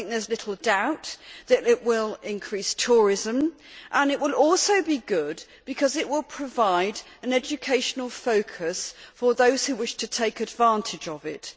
There is little doubt that it will increase tourism, and it will also be good because it will provide an educational focus for those who wish to take advantage of it.